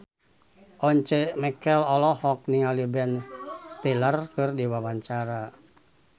Once Mekel olohok ningali Ben Stiller keur diwawancara